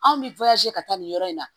Anw bɛ ka taa nin yɔrɔ in na